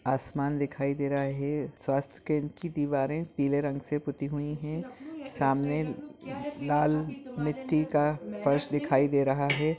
आसमान दिखाई दे रहा हे स्वास्थ्य केंद्र की दीवारें पीले रंग से पुती हुई है सामने लाल मिट्टी का फर्श दिखाई दे रहा है।